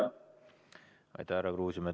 Aitäh, härra Kruusimäe!